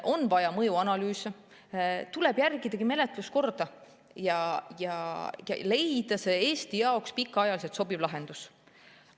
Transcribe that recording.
On vaja mõjuanalüüse, tuleb järgida menetluskorda ja leida Eesti jaoks pikaajaliselt sobiv lahendus.